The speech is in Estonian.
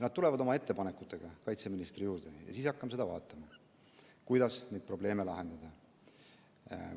Nad tulevad oma ettepanekutega kaitseministri juurde ja siis hakkame vaatama, kuidas neid probleeme lahendada.